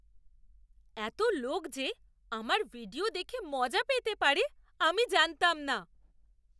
এত লোক যে আমার ভিডিও দেখে মজা পেতে পারে আমি জানতাম না!